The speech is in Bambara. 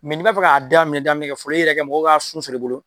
n'i b'a fɛ k'a daaminɛ daminɛ kɛ fɔlɔ i yɛrɛ kɛ mɔgɔw k'a sun sɔrɔ i bolo